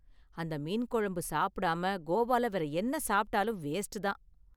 அந்த மீன் குழம்பு சாப்பிடாம கோவால வேற என்ன சாப்பிட்டாலும் வேஸ்ட் தான்.